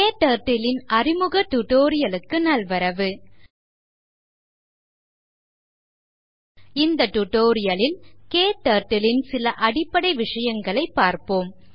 KTurtle ன் அறிமுக tutorial க்கு நல்வரவு இந்த tutorial ல் KTurtle ன் சில அடிப்படை விஷயங்களைப் பார்ப்போம்